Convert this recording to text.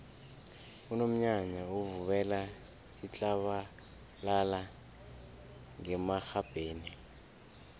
unomnyanya uvubela itlabalala ngemarhabheni